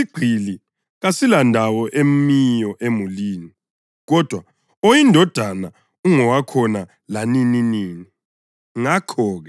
Phela isigqili kasilandawo emiyo emulini, kodwa oyindodana ungowakhona lanininini.